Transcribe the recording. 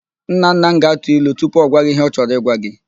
Nnanna m ga-atụ ilu tupu ọ gwa gị ihe ọ chorọ ịgwa gị.